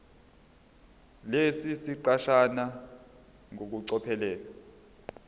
lesi siqeshana ngokucophelela